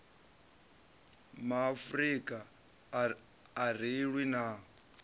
maafrika a ri lwi na